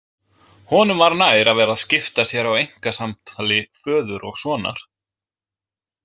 Honum var nær að vera að skipta sér af einkasamtali föður og sonar.